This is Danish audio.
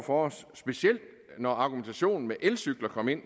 for os specielt når argumentationen med elcykler kom ind